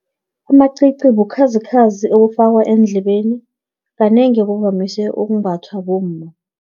Amacici, bukhazikhazi obufakwa eendlebeni, kanengi buvamise ukumbathwa bomma.